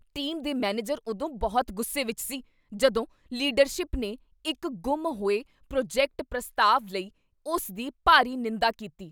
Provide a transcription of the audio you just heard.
Team ਦੇ manager ਉਦੋਂ ਬਹੁਤ ਗੁੱਸੇ ਵਿੱਚ ਸੀ ਜਦੋਂ ਲੀਡਰਸ਼ਿਪ ਨੇ ਇੱਕ ਗੁੰਮ ਹੋਏ ਪ੍ਰੋਜੈਕਟ ਪ੍ਰਸਤਾਵ ਲਈ ਉਸ ਦੀ ਭਾਰੀ ਨਿੰਦਾ ਕੀਤੀ।